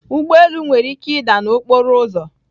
Ụgbọ elu nwere ike ịda n'okporo ụzọ